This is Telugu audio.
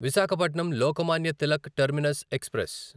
Visakhapatnam Lokmanya Tilak terminus express